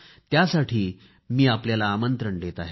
त्यासाठी मी आपल्याला आमंत्रण देत आहे